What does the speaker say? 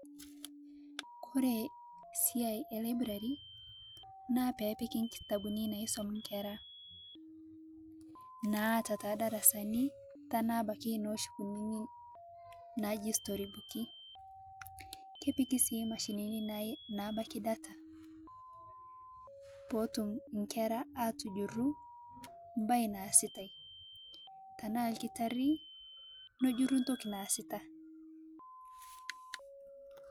Kore siai elaiburari naa peebiki nkitabuni naisom nkera, naata te darasani tanaa sii noshi kunini naaji srorybuki, kepiki abaki machenini naabaki data, pootum nkera atujuru mbae naasitae, tanaa lkitarii najuru ntoki naasita.